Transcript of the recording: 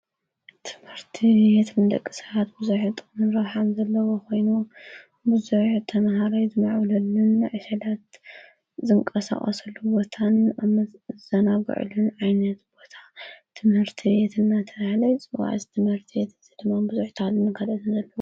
ትምህርቲ ቤት ንደቂ ሰባት ብዙሕ ጥቕምን ረብሓን ዘለዎ ኾይኑ ብዙሕ ተምሃርይ ዝምዕብሉሉን ዕሸላት ዝንቀሳቀስሉ ቦታን ዝዘናጕዕሉን ዓይነት ቦታ ትምህርቲ ቤት እናተባህለ የፅዋዕ፡፡ እዚ ትመህርቲ ቤት ድማ ብዙሕ